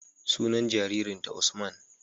Sunan jarirnta Usman.